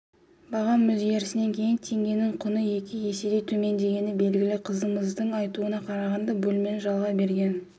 бағам өзгерісінен кейін теңгенің құны екі еседей төмендегені белгілі қызымыздың айтуына қарағанда бөлмені жалға берген